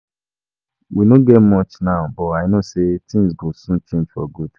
We no get much now but I no say things go soon change for good